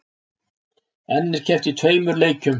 Enn er keppt í tveimur leikjum